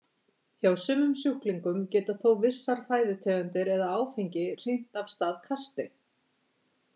Hjá sumum sjúklingum geta þó vissar fæðutegundir eða áfengi hrint af stað kasti.